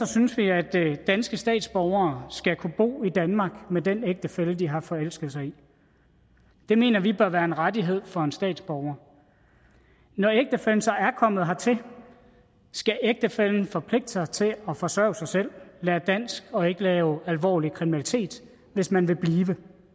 synes vi at danske statsborgere skal kunne bo i danmark med den ægtefælle de har forelsket sig i det mener vi bør være en rettighed for en statsborger når ægtefællen så er kommet hertil skal ægtefællen forpligte sig til at forsørge sig selv lære dansk og ikke lave alvorlig kriminalitet hvis man vil blive